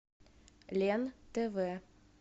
лен тв